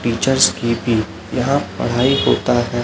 Teachers की भी यहां पढ़ाई होता है।